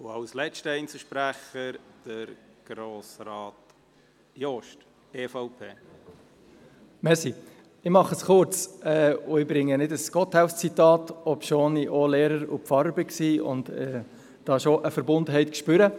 Ich mache es kurz, und ich bringe kein Gotthelf-Zitat, obwohl ich auch Lehrer und Pfarrer war und da schon eine Verbundenheit spüre.